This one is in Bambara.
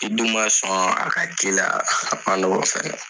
i dun man sɔn a ka k'i la a man nɔgɔn fɛnɛ.